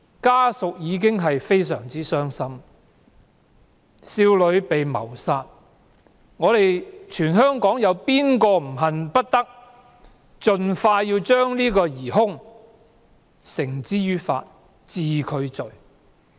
家屬對於這宗少女被謀殺的慘案已經非常傷心，香港市民誰也恨不得盡快將疑兇繩之於法，把他治罪。